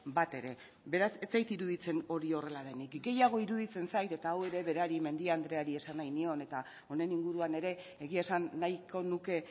bat ere beraz ez zait iruditzen hori horrela denik gehiago iruditzen zait eta hau ere berari mendia andreari esan nahi nion eta honen inguruan ere egia esan nahiko nuke